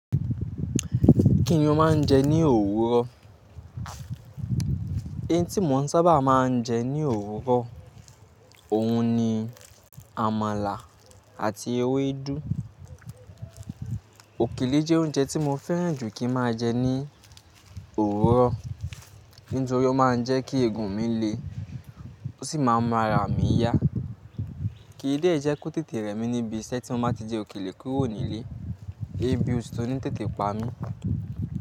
Kí ni ó máa ń jẹ ní òwúrọ̀? Eyín tí mò ń sábà máa ń jẹ ní òwúrọ̀, òun ni àmàlà àti ewédú. Òkèlè jẹ́ oúnjẹ tí mo fẹ́ràn jù kí máa jẹ ní òwúrọ̀, nítorí ó máa ń jẹ́ kí ègùn mi le ó sì máa ń mú ara mí yá. Kìí dẹ jẹ́ kó tètè rẹ́ mi níbi iṣẹ́ tí mo bá ti jẹ òkèlè kúrò nílé, ebí ofí ni tètè pa mí.